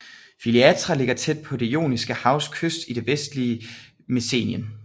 Filiatra ligger tæt på Det Joniske Havs kyst i det vestlige Messenien